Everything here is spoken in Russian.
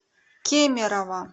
кемерово